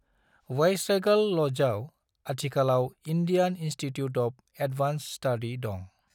Viceregal लजआव अथिखालाव Indian institute of advance study दं।